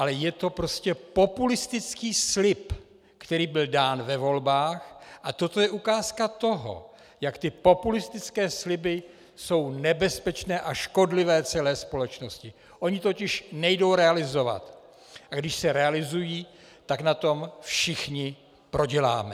Ale je to prostě populistický slib, který byl dán ve volbách, a toto je ukázka toho, jak ty populistické sliby jsou nebezpečné a škodlivé celé společnosti - ony totiž nejdou realizovat, a když se realizují, tak na tom všichni proděláme.